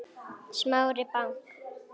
Smári bank